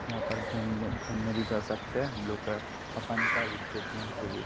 यहां पर घूमने घूमने भी चल सकते है हम लोग अपन का रिफ्रेशमेंट के लिए।